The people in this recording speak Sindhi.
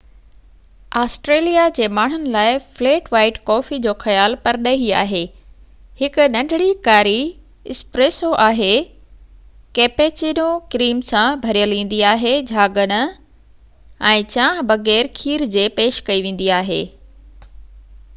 آسٽريليا جي ماڻهن لاءِ ‘فليٽ وائيٽ’ ڪوفي جو خيال پرڏيهي آهي. هڪ ننڍڙي ڪاري ’اسپريسو‘ آهي، ڪيپيچينو ڪريم سان ڀريل ايندي آهي جهاگ نه، ۽ چانهه بغير کير جي پيش ڪئي ويندي آهي